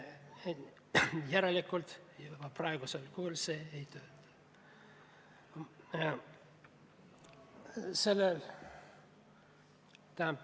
Järelikult oma praegusel kujul süsteem ei tööta.